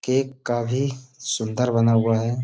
Cake काफी सुन्दर बना हुआ है।